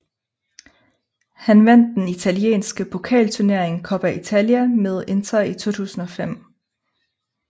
Han vandt den italienske pokalturnering Coppa Italia med Inter i 2005